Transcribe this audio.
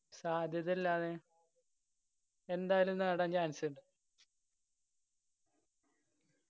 സാധ്യതയല്ലാതെ എന്തായാലും നേടാൻ chance ഇണ്ട്